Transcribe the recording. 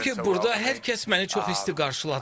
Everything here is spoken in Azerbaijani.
Çünki burda hər kəs məni çox isti qarşıladı.